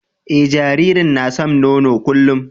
Eh, jaririn na san nono kullum.